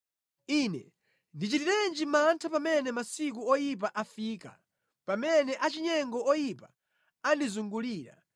Ine ndichitirenji mantha pamene masiku oyipa afika, pamene achinyengo oyipa andizungulira.